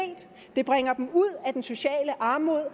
det bringer dem ud af den sociale armod og